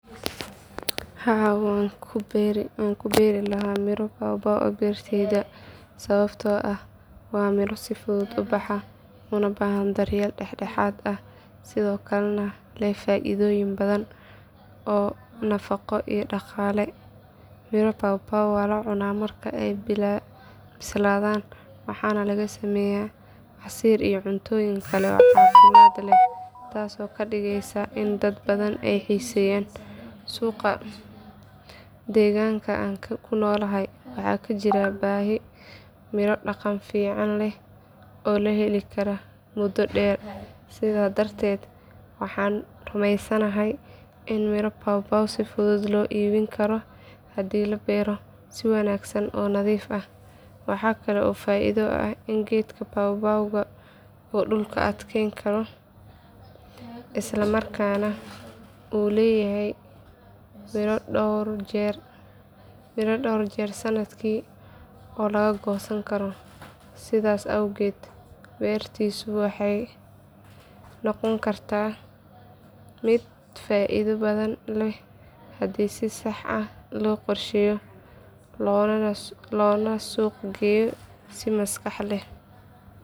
Haa waan ku beeri lahaa miro pawpaw beertayda sababtoo ah waa miro si fudud u baxa una baahan daryeel dhexdhexaad ah sidoo kalena leh faa’iidooyin badan oo nafaqo iyo dhaqaale. Miro pawpaw waa la cunaa marka ay bislaadaan waxaana laga sameeyaa casiir iyo cuntooyin kale oo caafimaad leh taasoo ka dhigeysa in dad badan ay xiiseeyaan. Suuqa deegaanka aan ku noolahay waxaa ka jira baahi miro dhadhan fiican leh oo la heli karo muddo dheer sidaa darteed waxaan rumeysanahay in miro pawpaw si fudud loo iibin karo haddii la beero si wanaagsan oo nadiif ah. Waxaa kale oo faa’iido ah in geedka pawpaw uu dhulka adkeyn karo isla markaana uu leeyahay midho dhowr jeer sannadkii la goosan karo. Sidaas awgeed beertiisu waxay noqon kartaa mid faa’iido badan leh haddii si sax ah loo qorsheeyo loona suuq geeyo si maskax leh.